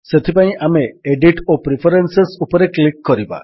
ସେଥିପାଇଁ ଆମେ ଏଡିଟ୍ ଓ ପ୍ରିଫରେନ୍ସେସ୍ ଉପରେ କ୍ଲିକ୍ କରିବା